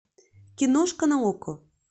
киношка на окко